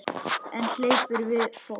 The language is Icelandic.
En hún hleypur við fót.